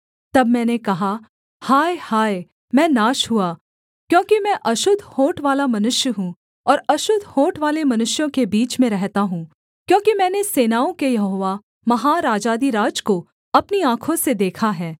तब मैंने कहा हाय हाय मैं नाश हुआ क्योंकि मैं अशुद्ध होंठवाला मनुष्य हूँ और अशुद्ध होंठवाले मनुष्यों के बीच में रहता हूँ क्योंकि मैंने सेनाओं के यहोवा महाराजाधिराज को अपनी आँखों से देखा है